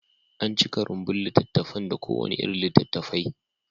An cika rumbun littattafan da kowane irin littattafai.